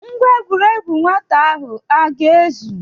Ngwa egwuregwu nwata ahụ ọ ga-ezu?